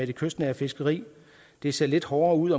det kystnære fiskeri det ser lidt hårdere ud